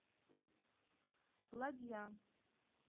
ладья